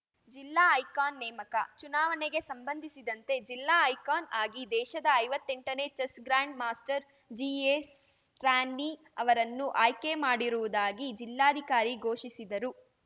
ಜಿಲ್ಲಾ ಐಕಾನ್‌ ನೇಮಕ ಚುನಾವಣೆಗೆ ಸಂಬಂಧಿಸಿದಂತೆ ಜಿಲ್ಲಾ ಐಕಾನ್‌ ಆಗಿ ದೇಶದ ಐವತ್ತೆಂಟನೇ chess grandmaster G A Stany ಅವರನ್ನು ಆಯ್ಕೆ ಮಾಡಿರುವುದಾಗಿ ಜಿಲ್ಲಾಧಿಕಾರಿ ಘೋಷಿಸಿದರು